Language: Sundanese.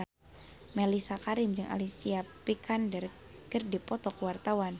Mellisa Karim jeung Alicia Vikander keur dipoto ku wartawan